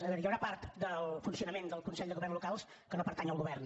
a veure hi ha una part del funcionament del consell de governs locals que no pertany al govern